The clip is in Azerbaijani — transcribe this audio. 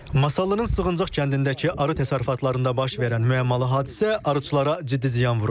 Masallının Sığıncaq kəndindəki arı təsərrüfatlarında baş verən müəmmalı hadisə arıçılara ciddi ziyan vurub.